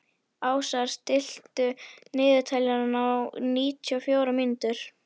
Ásar, stilltu niðurteljara á níutíu og fjórar mínútur.